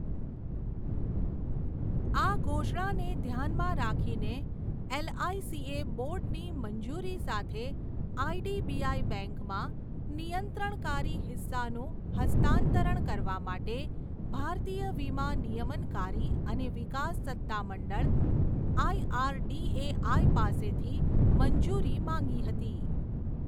આ ઘોષણાને ધ્યાનમાં રાખીને એલઆઇસીએ બોર્ડની મંજૂરી સાથે આઇડીબીઆઈ બેંકમાં નિયંત્રણકારી હિસ્સાનું હસ્તાંતરણ કરવા માટે ભારતીય વીમા નિયમનકારી અને વિકાસ સત્તામંડળ આઇઆરડીએઆઈ પાસેથી મંજૂરી માંગી હતી.